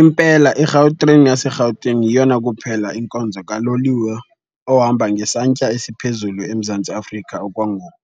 Impela iGautrain yaseRhawutini yeyona kuphela inkonzo kaloliwe ohamba ngesantya esiphezulu eMzantsi Afrika okwangoku.